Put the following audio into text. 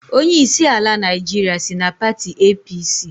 Onyeisi ala Naịjirịa si na pati APC